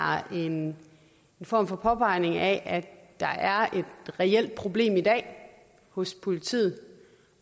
en form for påpegning af at der er et reelt problem i dag hos politiet